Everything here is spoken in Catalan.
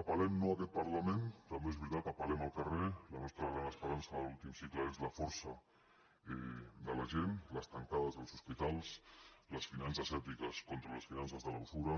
apel·lem no a aquest parlament també és veritat apeltim cicle és la força de la gent les tancades als hospitals les finances ètiques contra les finances de la usura